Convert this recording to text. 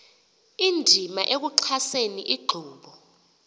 indima ekuxhaseni inkqubo